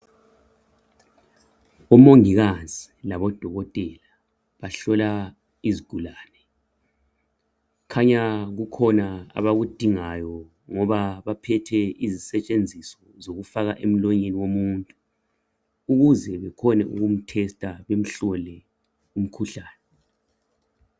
Umongikazi labodokotela bahlola isigulane kukhanya kukhona abakudingayo ngoba baphethe izisetshenziso zokufaka emlonyeni womuntu ukuze bekhone ukumthesta bemhlole umkhuhlane